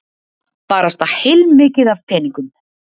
Barasta heilmikið af peningum.